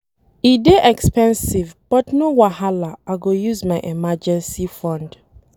E dey expensive but no wahala I go use my emergency fund